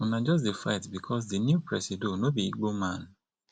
una just dey fight because di new presido no be igbo man